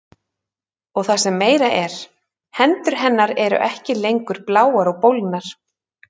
Og það sem meira er, hendur hennar eru ekki lengur bláar og bólgnar.